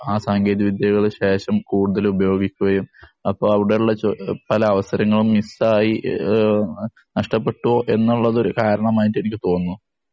ആ സാങ്കേതിക വിദ്യകള് ശേഷം കൂടുതല് ഉപയോഗിക്കുകയും അപ്പോ അവിടെ ഉള്ള പല അവസരങ്ങളും മിസ്സ് ആയി നഷ്ടപ്പെട്ടു എന്നുള്ളത് ഒരു കാരണമായിട്ട് എനിക്ക് തോന്നുന്നു.